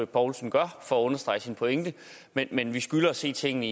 poulsen gør for at understrege sin pointe men men vi skylder at se tingene